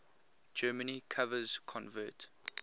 germany covers convert